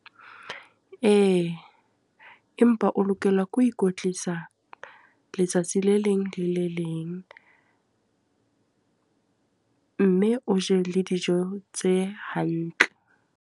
Ee, empa o lokela ke ho ikwetlisa letsatsi le leng le le leng. Mme o je le dijo tse hantle.